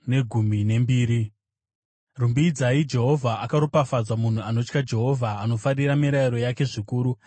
Rumbidzai Jehovha. Akaropafadzwa munhu anotya Jehovha, anofarira mirayiro yake zvikuru.